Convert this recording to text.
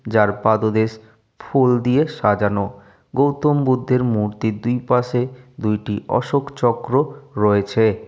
যার পাদোদেশ ফুল দিয়ে সাজানো গৌতম বুদ্ধের মূর্তির দুই পাশে দুইটি অশোক চক্র রয়েছে।